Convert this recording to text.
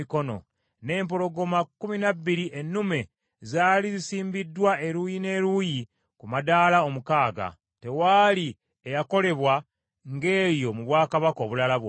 N’empologoma kkumi na bbiri emmumbe zaali zisimbiddwa eruuyi n’eruuyi ku madaala omukaaga. Tewaali eyakolebwa ng’eyo mu bwakabaka obulala bwonna.